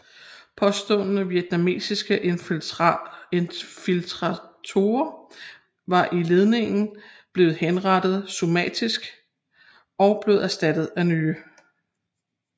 Påståede vietnamesiske infiltratorer i ledningen blev henrettet summarisk og blev erstattet af nye